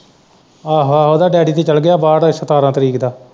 ਆਹੋ-ਆਹੋ ਉਹਦਾ ਡੈਡੀ ਵੀ ਚੱਲ ਗਿਆ ਬਾਹਰ ਸਤਾਰਾਂ ਤਰੀਕ ਦਾ।